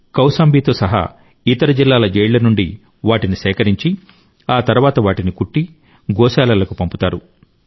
కౌశాంబితో సహా ఇతర జిల్లాల జైళ్ల నుండి వాటిని సేకరించి ఆ తర్వాత వాటిని కుట్టి గోశాలలకు పంపుతారు